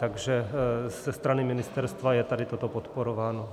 Takže ze strany ministerstva je tady toto podporováno.